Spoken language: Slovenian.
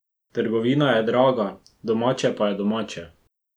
Trgovina je draga, domače pa je domače!